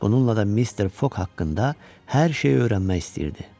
Bununla da Mister Foq haqqında hər şeyi öyrənmək istəyirdi.